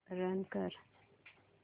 run कर